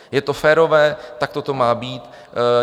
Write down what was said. Je to férové, takto to má být.